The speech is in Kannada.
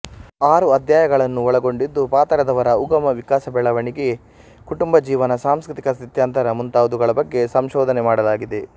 ಆರು ಅಧ್ಯಾಯಗಳನ್ನು ಒಳಗೊಂಡಿದ್ದು ಪಾತರದವರ ಉಗಮ ವಿಕಾಸ ಬೆಳವಣಿಗೆ ಕುಟುಂಬ ಜೀವನ ಸಾಂಸ್ಕೃತಿಕ ಸ್ಥಿತ್ಯಂತರ ಮುಂತಾದವುಗಳ ಬಗ್ಗೆ ಸಂಶೋಧನೆ ಮಾಡಲಾಗಿದೆ